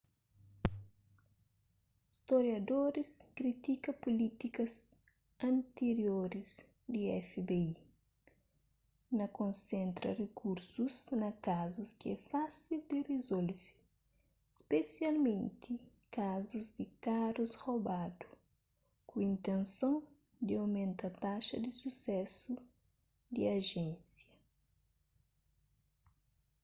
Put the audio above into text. storiadoris kritika pulítikas antirioris di fbi na konsentra rikursus na kazus ki é fásil di rizolve spesialmenti kazus di karus robadu ku intenson di omenta taxa di susésu di ajénsia